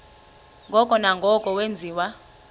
ngoko nangoko wenziwa